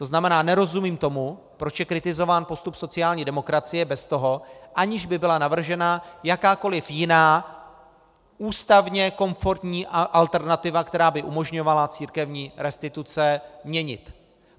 To znamená, nerozumím tomu, proč je kritizován postup sociální demokracie bez toho, aniž by byla navržena jakákoliv jiná ústavně komfortní alternativa, která by umožňovala církevní restituce měnit.